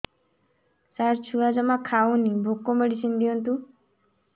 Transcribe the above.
ସାର ଛୁଆ ଜମା ଖାଉନି ଭୋକ ମେଡିସିନ ଦିଅନ୍ତୁ